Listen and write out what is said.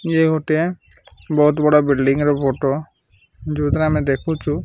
ଇଏ ଗୋଟିଏ ବହୁତ ବଡ ବିଲଡିଂ ର ଫୋଟ ଯୋଉଥିରେ ଆମେ ଦେଖୁଚୁ --